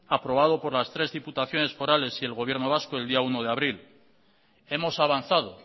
aprobado por las tres diputaciones forales y el gobierno vasco el día uno de abril hemos avanzado